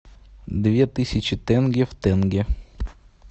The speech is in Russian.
две тысячи тенге в тенге